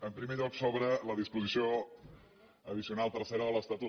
en primer lloc sobre la disposició addicional tercera de l’estatut